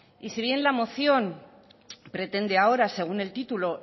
y si bien la moción pretende ahora según el título